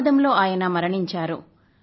ప్రమాదంలో ఆయన మరణించారు